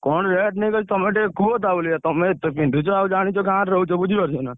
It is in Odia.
କଣ rate ନେଇକି ଅଛି ତମେ ଟିକେ କୁହ ତାଭଳିଆ ତମେ ଏତେ ପିନ୍ଧୁଛ ଆଉ ଜାଣିଛ ଗାଁରେ ରହୁଛ